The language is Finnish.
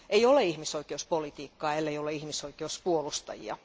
Ei ole ihmisoikeuspolitiikkaa ellei ole ihmisoikeuspuolustajia.